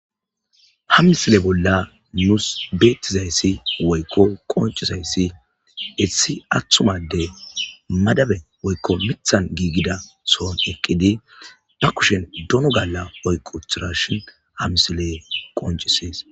Ha misile bolla nusi betizayisi woyiko qonicidayis madabe mithape gigida sohon eqidi bakushya dono gala oyiki utidayisa qonicises